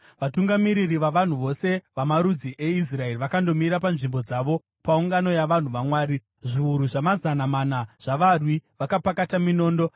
Vatungamiriri vavanhu vose vamarudzi eIsraeri vakandomira panzvimbo dzavo paungano yavanhu vaMwari, zviuru zvamazana mana zvavarwi vakapakata minondo.